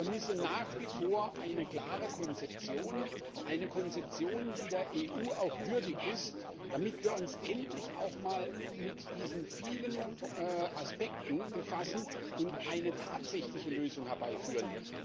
Ich vermisse nach wie vor eine klare Konzeption, die der EU auch würdig ist, damit wir uns endlich auch mal mit diesen vielen Aspekten befassen und eine tatsächliche Lösung herbeiführen.